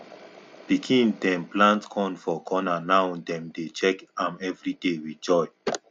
pikin dem plant corn for corner now dem dey check am everyday with joy